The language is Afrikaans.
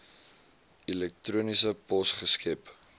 elektroniese pos geskep